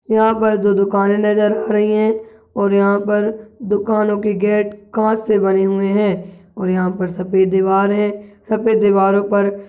यह पर दो दुकाने नजर आ रही है और यहाँ पर दुकानों की गेट कांच से बने हुए है और यहाँ पर सफेद दीवार है सफेद दीवारों पर--